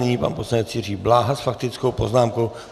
Nyní pan poslanec Jiří Bláha s faktickou poznámkou.